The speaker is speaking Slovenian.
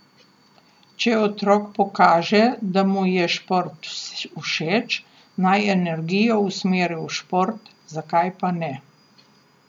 Če otrok pokaže, da mu je šport všeč, naj energijo usmeri v šport, zakaj pa ne.